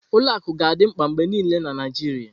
Ụlọ akụ ga-adị mkpa mgbe niile na Naijiria.